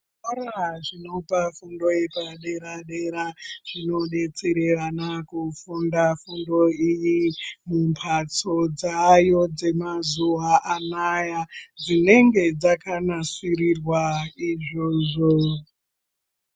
Zvikora zvinopa fundo yepadera-dera zvinodetsere vana kufunda fundo iyi mumbatso dzaayo dzemazuwa anaya dzinenge dzakanasirirwa izvozvo.